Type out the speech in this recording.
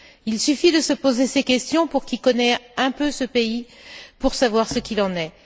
Il suffit de se poser ces questions, pour qui connaît un peu ce pays, pour savoir ce qu'il en est.